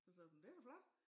Så sagde jeg det jo flot